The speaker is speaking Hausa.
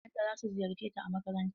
Iyayen ta za su ziyarce ta a makaranta.